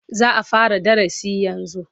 Za a fara darasi yanzu